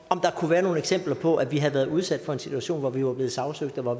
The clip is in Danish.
om der kunne være nogle eksempler på at vi havde været udsat for en situation hvor vi var blevet sagsøgt og